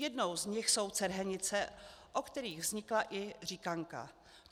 Jednou z nich jsou Cerhenice, o kterých vznikla i říkanka.